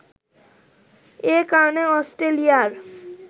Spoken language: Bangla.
এ কারণে অস্ট্রেলিয়ার